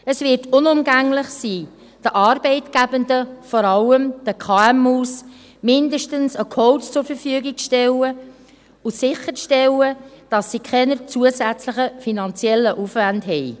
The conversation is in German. Es wird unumgänglich sein, den Arbeitgebenden, vor allem den KMU, mindestens einen Coach zur Verfügung zu stellen und sicherzustellen, dass sie keinen zusätzlichen finanziellen Aufwand haben.